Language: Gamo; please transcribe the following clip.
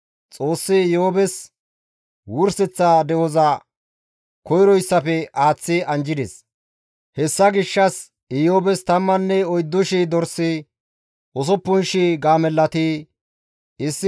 Xoossi Iyoobes wurseththa de7oza koyroyssafe aaththi anjjides. Hessa gishshas Iyoobes 14,000 dorsi, 6,000 gaamellati, 1,000 waaththa boorati, 1,000 macca hareti deettes.